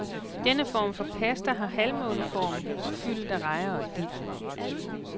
Denne form for pasta har halvmåneform og fyldet er rejer og dild.